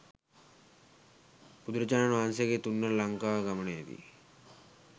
බුදුරජාණන් වහන්සේගේ තුන්වන ලංකා ගමනයේදි